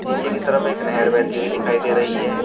नीचे की तरफ एक नहर बहती हुई दिखाई दे रही है।